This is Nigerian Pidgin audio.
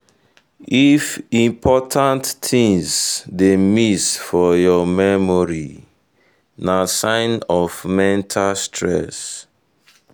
if important things dey miss for your memory na sign of mental stress.